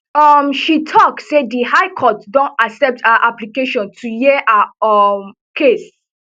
um she tok say di high court don accept her application to hear her um case